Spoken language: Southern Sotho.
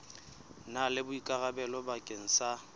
na le boikarabelo bakeng sa